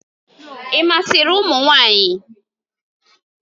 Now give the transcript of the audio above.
Ị masịrị ụmụ nwanyị?